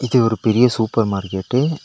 இது ஒரு பெரிய சூப்பர் மார்க்கெட்டு .